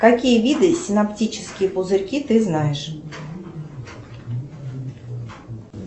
какие виды синоптические пузырьки ты знаешь